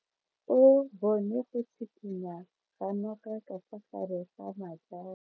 O bone go tshikinya ga noga ka fa gare ga majang.